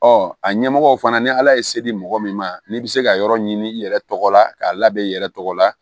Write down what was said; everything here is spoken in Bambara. Ɔ a ɲɛmɔgɔ fana ni ala ye se di mɔgɔ min ma n'i bɛ se ka yɔrɔ ɲini i yɛrɛ tɔgɔ la k'a labɛn i yɛrɛ tɔgɔ la